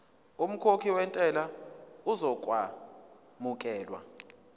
umkhokhi wentela uzokwamukelwa